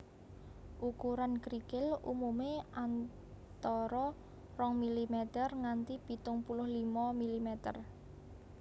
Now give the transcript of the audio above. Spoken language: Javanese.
Ukuran krikil umumé antara rong milimeter nganti pitung puluh limo milimeter